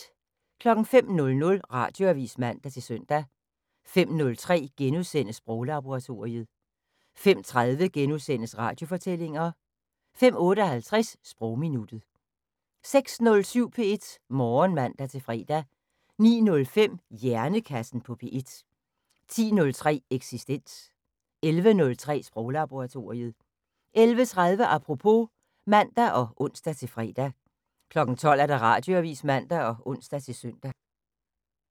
05:00: Radioavis (man-søn) 05:03: Sproglaboratoriet * 05:30: Radiofortællinger * 05:58: Sprogminuttet 06:07: P1 Morgen (man-fre) 09:05: Hjernekassen på P1 10:03: Eksistens 11:03: Sproglaboratoriet 11:30: Apropos (man og ons-fre) 12:00: Radioavis (man og ons-søn)